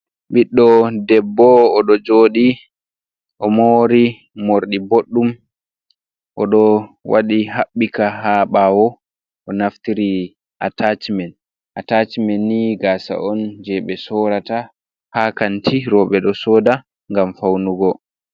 Ɓiɗɗo debbo oɗo joɗi o mori morɗi boɗɗum, oɗo waɗi haɓɓika ha ɓawo, o naftiri atacimen, atacimen ni gasa on je ɓe sorata ha kanti roɓe do soda ngam faunugo.